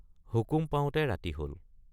হুকুম পাওঁতে ৰাতি হল।